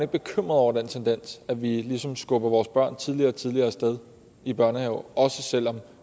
bekymret over den tendens at vi ligesom skubber vores børn tidligere og tidligere af sted i børnehave også selv om